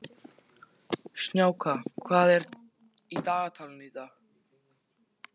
Snjáka, hvað er í dagatalinu í dag?